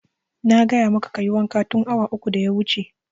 Na gaya maka kayi wanka tun awa uku da ya wuce!